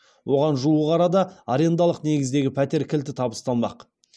оған жуық арада арендалық негіздегі пәтер кілті табысталмақ